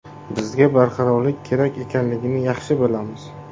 Bizga barqarorlik kerak ekanligini yaxshi bilamiz.